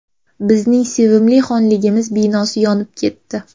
Bizning sevimli Xonligimiz binosi yonib ketdi.